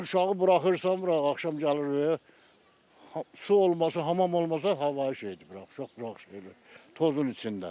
Uşağı buraxırsan bura axşam gəlir su olmasa, hamam olmasa havayı şeydir, uşaq burax şeydir, tozun içində.